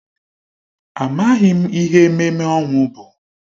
Amaghị m ihe ememme ọnwụ bụ.